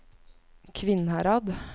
Kvinnherad